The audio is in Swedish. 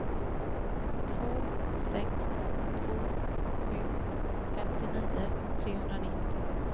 två sex två sju femtionio trehundranittio